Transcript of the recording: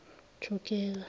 thugela